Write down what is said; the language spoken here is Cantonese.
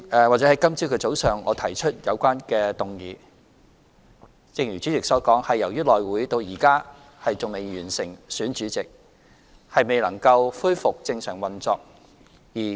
今日早上，我提出有關議案，正如主席所言，是由於內務委員會至今仍未完成選舉主席，未能夠恢復正常運作。